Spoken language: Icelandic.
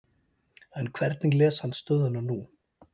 En hvernig les hann stöðuna nú?